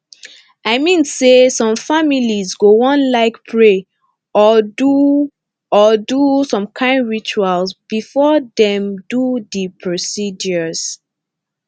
i mean say some families go wan like pray or do or do some kain rituals before dem do the procedures